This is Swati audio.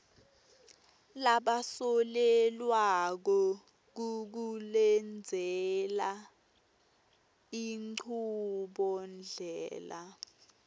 labasolelwako kukulendzela inchubondlela